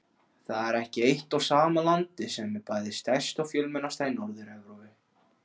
Það er ekki eitt og sama landið sem er bæði stærst og fjölmennast í Norður-Evrópu.